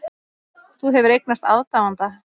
Þú hefur eignast aðdáanda.